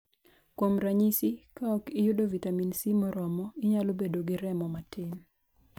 Kuom ranyisi, ka ok iyudo vitamin C moromo, inyalo bedo gi remo matin.